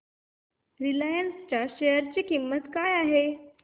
Reliance च्या share ची किंमत काय आहे